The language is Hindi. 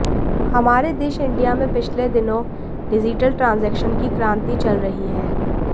हमारे देश इंडिया में पिछले दिनों डिजिटल ट्रांजेक्शन की क्रांति चल रही है